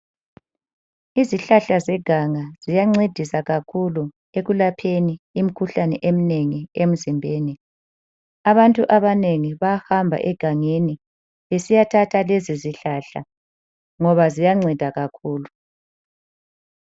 Izihlahla zeganga ziyancedisa kakhulu ekulapheni imikhuhlane eminengi emzimbeni. Abantu abanengi bayahamba egangeni besiya thatha lezo zihlahla ngoba ziyanceda kakhulu.